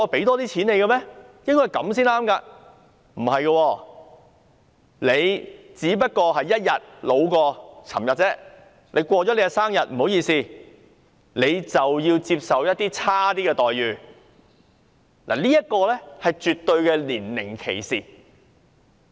然而，事實並非如此，即使你只不過較昨天年老1天，你過了生日便要接受較差的待遇，這是絕對的年齡歧視。